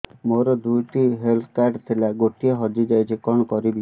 ମୋର ଦୁଇଟି health card ଥିଲା ଗୋଟିଏ ହଜି ଯାଇଛି କଣ କରିବି